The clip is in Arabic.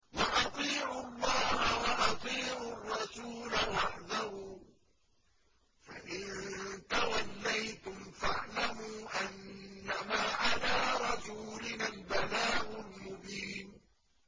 وَأَطِيعُوا اللَّهَ وَأَطِيعُوا الرَّسُولَ وَاحْذَرُوا ۚ فَإِن تَوَلَّيْتُمْ فَاعْلَمُوا أَنَّمَا عَلَىٰ رَسُولِنَا الْبَلَاغُ الْمُبِينُ